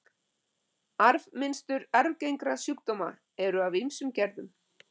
Arfmynstur arfgengra sjúkdóma eru af ýmsum gerðum.